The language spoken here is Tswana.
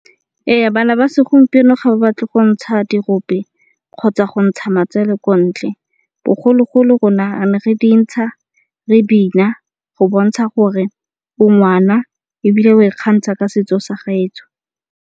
Ee, bana ba segompieno ga ba batle go ntsha diropo kgotsa go ntsha matsele ko ntle. Bogologolo rona re ne re dintsha, re bina go bontsha gore o ngwana ebile oa ikgantsha ka setso sa gaetsho